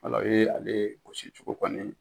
O ye ale gosi cogo kɔni ye